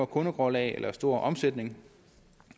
kundegrundlag eller en stor omsætning